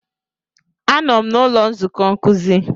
Anọ m n'ụlọ nzukọ nkuzi.